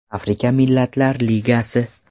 Afrika Millatlar Ligasi.